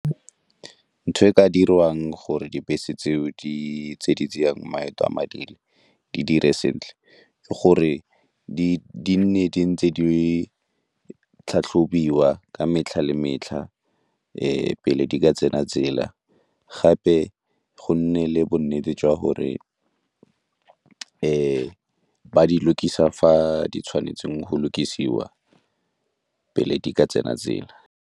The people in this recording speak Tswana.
Ntho e ka dirwang gore dibese tseo di tse di tsayang maeto a madi di dire sentle ke gore di nne di ntse di tlhatlhobiwa ka metlha le metlha, pele di ka tsena tsela, gape go nne le bonnete jwa gore e ba di lokisa fa di tshwanetseng go lokisa kwa pele di ka tsena tsela.